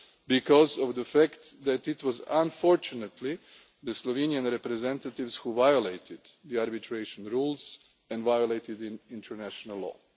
because of the fact that it was unfortunately the Slovenian representatives who violated the arbitration rules and violated in international law.